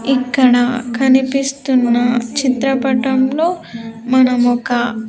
ఇక్కడ కనిపిస్తున్న చిత్రపటంలో మనమొక--